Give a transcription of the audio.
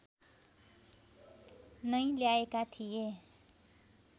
नै ल्याएका थिए